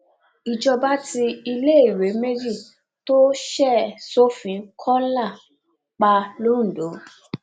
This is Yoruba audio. ìjọba tí iléèwé méjì tó ṣe sófin kọńlá pa londo